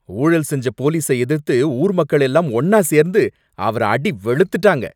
ஊழல் செஞ்ச போலீஸ எதிர்த்து ஊர் மக்கள் எல்லாம் ஒன்னா சேர்ந்து அவர அடி வெளுத்துட்டங்க.